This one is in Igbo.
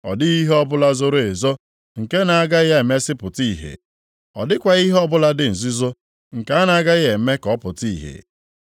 Ọ dịghị ihe ọbụla zoro ezo nke na-agaghị emesịa pụta ìhè, ọ dịkwaghị ihe ọbụla dị nzuzo nke a na-aghaghị eme ka ọ pụta ìhè.